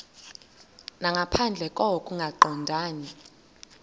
nangaphandle koko kungaqondani